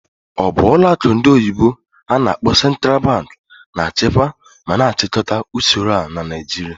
Ọ bụ ọlụ akụ ndị oyibo n'akpọ "Central Bank" na-achịkwa ma na-achịkọta usoro a na Naijiria?